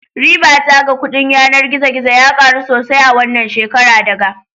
Ribata ga kudin yanar gizo gizo ya karu sosai a wannan shekara daga